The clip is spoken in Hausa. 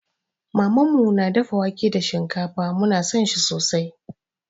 Mamanmu na dafa wake da shinkafa, mu na san shi sosai.